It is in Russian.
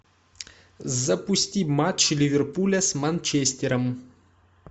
запусти матч ливерпуля с манчестером